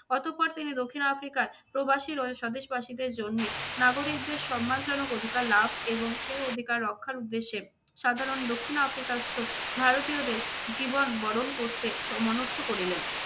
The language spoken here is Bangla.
অতঃপর তিনি দক্ষিণ আফ্রিকার প্রবাসী স্বদেশবাসীদের জন্য নাগরিকদের সম্মানজনক অধিকার লাভ এবং সেই অধিকার রক্ষার উদ্দেশ্যে সাধারণ দক্ষিণ আফ্রিকায়স্ত ভারতীয়দের জীবন বরণ করতে স~ মনস্থ করিলেন।